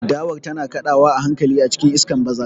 Dawar tana kaɗawa a hankali a cikin iskar bazara.